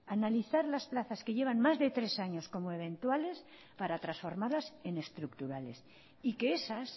analizar las plazas que llevan más de tres años como eventuales para transformarlas en estructurales y que esas